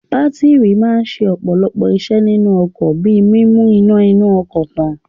Bátírì máa ń ṣe ọ̀pọ̀lọpọ̀ iṣẹ́ nínú ọkọ̀ bí i mímu iná inú ọkọ̀ tàn.